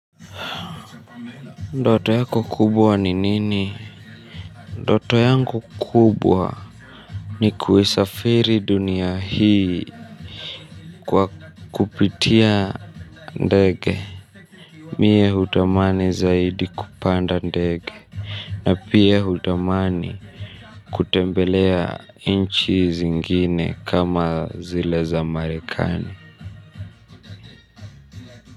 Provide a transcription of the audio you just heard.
Ndoto yako kubwa ni nini? Ndoto yangu kubwa ni kuisafiri dunia hii kwa kupitia ndege. Mie hutamani zaidi kupanda ndege. Na pia hutamani kutembelea nchi zingine kama zile za Marekani.